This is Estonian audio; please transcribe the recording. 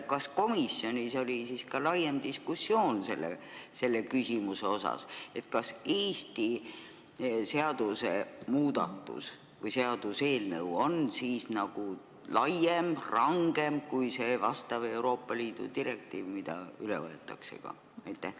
Kas komisjonis oli ka laiem diskussioon selle küsimuse üle, kas Eesti seadusemuudatus või seaduseelnõu on laiem ja rangem kui vastav Euroopa Liidu direktiiv, mis üle võetakse?